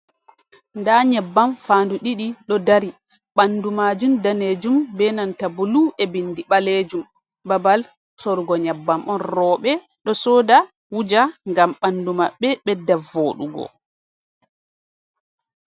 Nda nyebbam faandu ɗiɗi ɗo dari, ɓandu majum danejum be nanta bulu e bindi ɓaleejum, babal sorugo nyebbam on. Rowɓe ɗo soda wuja, ngam ɓandu maɓɓe ɓedda voɗugo.